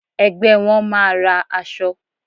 Ẹgbẹ́ won máa ra aṣọ.